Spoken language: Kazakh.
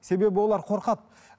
себебі олар қорқады